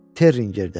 Terrindən.